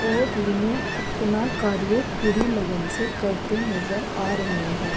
ओ तीनो अपना कार्य पूरी लगन से करते नज़र आ रहे हैं।